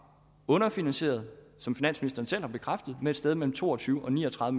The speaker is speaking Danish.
underfinansieret som finansministeren selv har bekræftet med et sted mellem to og tyve og ni og tredive